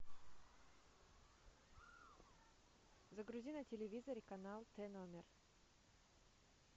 загрузи на телевизоре канал т номер